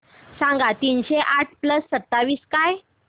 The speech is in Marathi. सांगा तीनशे आठ प्लस सत्तावीस काय